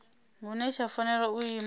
hune tsha fanela u ima